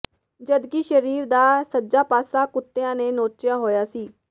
ਜਦਕਿ ਸਰੀਰ ਦਾ ਸੱਜਾ ਪਾਸਾ ਕੁੱਤਿਆਂ ਨੇ ਨੋਚਿਆ ਹੋਇਆ ਸੀ